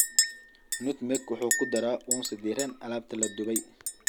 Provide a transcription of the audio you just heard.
Nutmeg wuxuu ku daraa uunsi diiran alaabta la dubay.